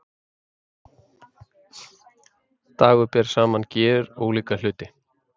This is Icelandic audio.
Dagur ber saman gjörólíka hluti